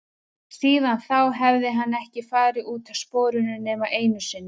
Síðan þá hafði hann ekki farið út af sporinu nema einu sinni.